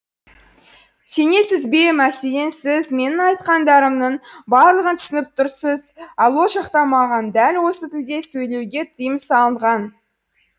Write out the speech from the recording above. сенесіз бе мәселен сіз менің айтқандарымның барлығын түсініп тұрсыз ал ол жақта маған дәл осы тілде сөйлеуге тыйым салынған